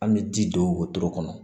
An bɛ ji don wotoro kɔnɔ